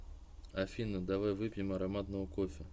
афина давай выпьем ароматного кофе